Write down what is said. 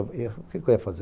O que eu ia fazer?